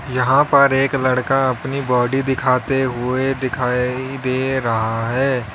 यहां पर एक लड़का अपनी बॉडी दिखाते हुए दिखाई दे रहा है।